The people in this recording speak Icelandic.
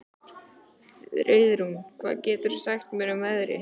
Friðrún, hvað geturðu sagt mér um veðrið?